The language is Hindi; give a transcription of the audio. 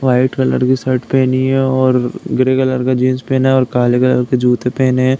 व्हाइट कलर की शर्ट पहनी है और ग्रे कलर का जीन्स पहना है और काले कलर के जूते पहने हैं।